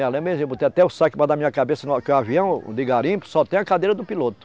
Me lembro benzinho, eu botei até o saco debaixo da minha cabeça, que o avião de garimpo só tem a cadeira do piloto.